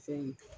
Fɛn ye